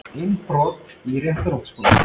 Innbrot í Réttarholtsskóla